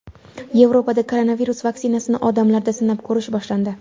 Yevropada koronavirus vaksinasini odamlarda sinab ko‘rish boshlandi.